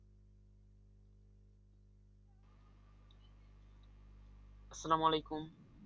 আসসালাম ওয়ালাইকুম